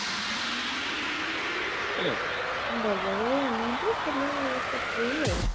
ବଲ୍ଲଭ ଆଉ ଆଣି ନାହାନ୍ତି ଖାଲି ତାକୁ ହି ଆଉ